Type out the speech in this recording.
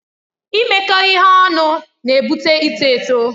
Imekọ ihe ọnụ na-ebute ịtọ eto.